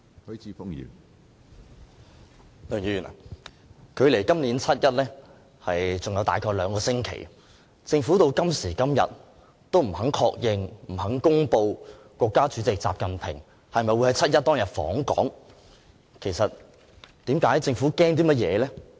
梁議員，距離今年7月1日還有大約兩星期，政府直至今時今日仍不肯確認和公布國家主席習近平會否在7月1日訪港，其實政府害怕甚麼？